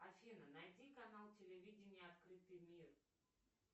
афина найди канал телевидения открытый мир